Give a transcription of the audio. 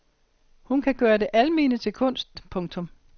Hun kan gøre det almene til kunst. punktum